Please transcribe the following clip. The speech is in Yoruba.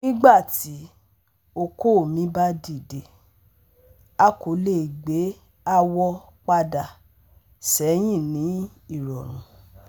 Nigbati oko mi ba dide, a ko le gbe awọ pada sẹhin ni irọrun